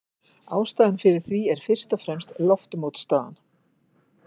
Ástæðan fyrir því er fyrst og fremst loftmótstaðan.